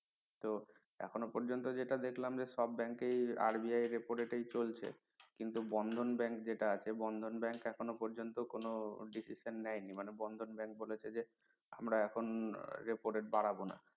তো এখনো পর্যন্ত যেটা দেখলাম যে সব bank এই RBIrepo rate এই চলছে কিন্তু বন্ধন bank যেটা আছে বন্ধন bank এখনো পর্যন্ত কোনো decision নেয়নি মানে বন্ধন bank বলেছে যে আমরা এখন repo rate বাড়াবনা।